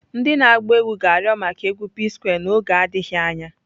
Ndị na-agba egwu ga-arịọ maka egwu P-Square n'oge adịghị anya.